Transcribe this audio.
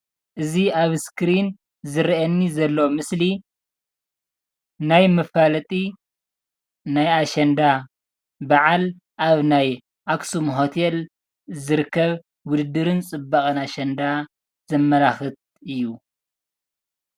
እዚ ኣብ ስክሪን ዝረአየኒ ዘሎ ምስሊ ናይ መፋለጢ ናይ ኣሸንዳ ባዓል ኣብ ናይ ኣክሱም ሆቴል ዝርከብ ውድድርን ፅባቐን ኣሸንዳ ዘመላኽት እዩ።